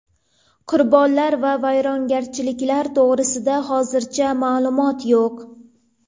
Qurbonlar va vayrongarchiliklar to‘g‘risida hozircha ma’lumot yo‘q.